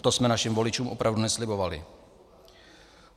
To jsme našim voličům opravdu neslibovali.